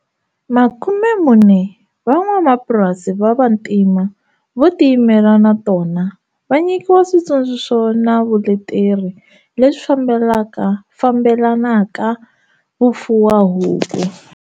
Makumemune wa van'wamapurasi va vantima vo ti yimela na tona va nyikiwa switsundzuxo na vuleteri leswi fambelanaka vufuwahuku.